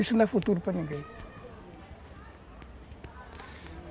Isso não é futuro para ninguém.